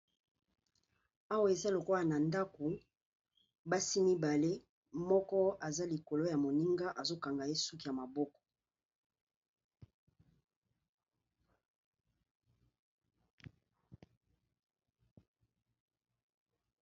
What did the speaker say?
Awa eza lokola na ndaku, basi mibale moko aza likolo ya moninga azo kanga ye suki ya maboko.